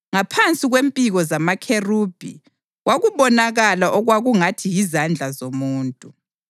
(Ngaphansi kwempiko zamakherubhi kwakubonakala okwakungathi yizandla zomuntu.)